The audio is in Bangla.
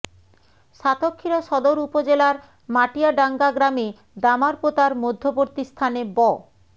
সাতক্ষীরা সদর উপজেলার মাটিয়াডাঙ্গা গ্রামে দামারপোতার মধ্যবর্তী স্থানে ব